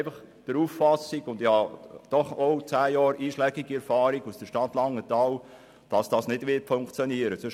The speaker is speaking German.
Ich verfüge immerhin über zehn Jahre einschlägige Erfahrung aus der Stadt Langenthal und bin der Auffassung, dass es nicht funktionieren wird.